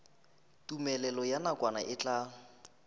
tumelelo ya nakwana e tla